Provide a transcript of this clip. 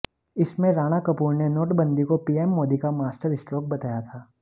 इसमें राणा कपूर ने नोटबंदी को पीएम मोदी का मास्टरस्ट्रोक बताया था